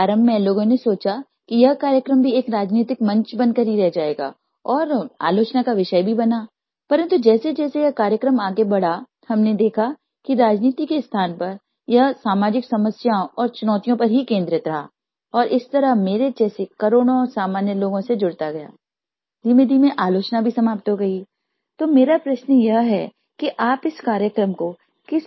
PHONE CALL1